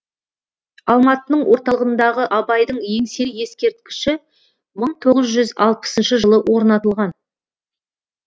алматының орталығындағы абайдың еңселі ескерткіші мың тоғыз жүз алпысыншы жылы орнатылған